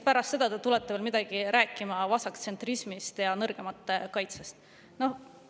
Pärast seda te tulete veel midagi rääkima vasaktsentrismist ja nõrgemate kaitsest!